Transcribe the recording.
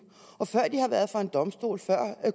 og før de har været for en domstol